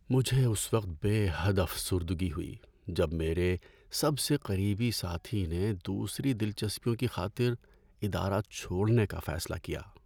مجھے اس وقت بے حد افسردگی ہوئی جب میرے سب سے قریبی ساتھی نے دوسری دلچسپیوں کی خاطر ادارہ چھوڑنے کا فیصلہ کیا۔